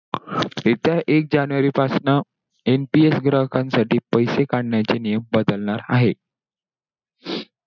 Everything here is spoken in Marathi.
येत्या एक january पासनं, MPS ग्राहकांसाठी पैसे काढण्याचे नियम बदलणार आहेत.